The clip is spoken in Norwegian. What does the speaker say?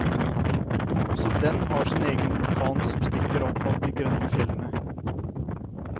Også den har sin egen vulkan som stikker opp av de grønne fjellene.